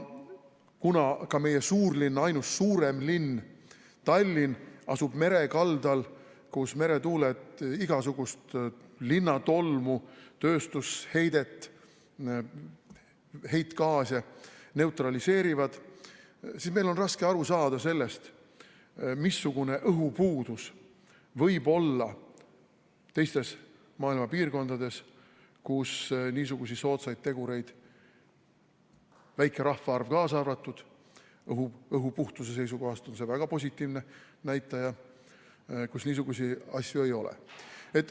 Kuna ka meie suurlinn, ainus suurem linn Tallinn asub mere kaldal, kus meretuuled igasugust linna tolmu, tööstusheidet ja heitgaase neutraliseerivad, siis on meil raske aru saada sellest, missugune õhupuudus võib olla teistes maailma piirkondades, kus niisuguseid soodsaid tegureid – väike rahvaarv kaasa arvatud, õhu puhtuse seisukohast on see väga positiivne näitaja – ei ole.